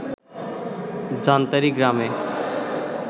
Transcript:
জান্তারী গ্রামে